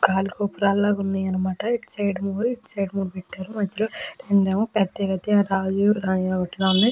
గాలి గోపురాల్లగా ఉన్నాయి అన్నమాట. ఇటు సైడ్ మూడు ఇటు సైడ్ మూడు పెట్టారు మధ్యలో రెండేమో పెద్ద గత్య రాజు రాణిలా ఉన్నాయ్.